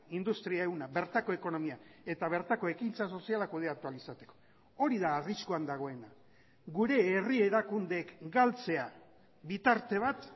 industria ehuna bertako ekonomia eta bertako ekintza sozialak kudeatu ahal izateko hori da arriskuan dagoena gure herri erakundeek galtzea bitarte bat